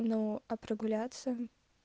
ну а прогуляться